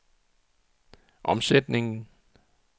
omsætningen